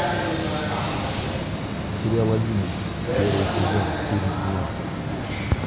сериал одиннадцать первый сезон фильм тьма